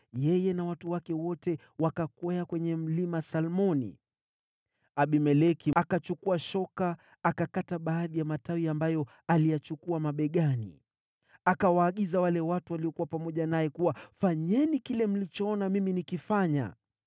yeye na watu wake wote wakakwea kwenye Mlima Salmoni. Abimeleki akachukua shoka, akakata baadhi ya matawi, ambayo aliyachukua mabegani. Akawaagiza wale watu waliokuwa pamoja naye kuwa, “Fanyeni kile mlichoona mimi nikifanya!”